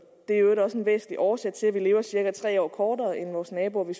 er i øvrigt også en væsentlig årsag til at vi lever cirka tre år kortere end vores naboer i